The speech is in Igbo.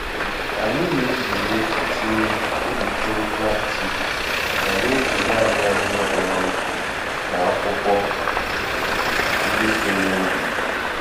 Anyị na-ezere itinye okpokoro plastik ma na-eji naanị ahịhịa kpọrọ nkụ na akwụkwọ ndị si n'ubi.